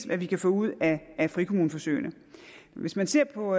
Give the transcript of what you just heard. hvad vi kan få ud af frikommuneforsøgene hvis man ser på